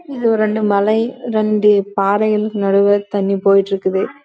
இங்க ஒரு மலை நாடுளே இங்க தனி போயிடு இருக்குது